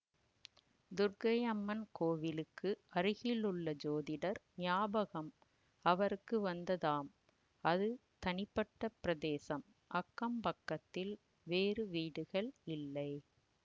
துர்க்கை அம்மன் கோவிலுக்கு அருகிலுள்ள ஜோதிடர் ஞாபகம் அவருக்கு வந்ததாம் அது தனிப்பட்ட பிரதேசம் அக்கம் பக்கத்தில் வேறு வீடுகள் இல்லை